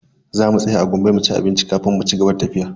Za mu tsaya a Gombe mu ci abinci kafin mu cigaba da tafiya.